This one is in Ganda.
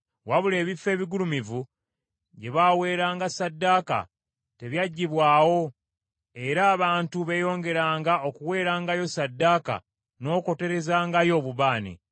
Wabula ebifo ebigulumivu gye baweeranga ssaddaaka tebyaggibwawo, era abantu beeyongeranga okuweerangayo ssaddaaka n’okwoterezangayo obubaane.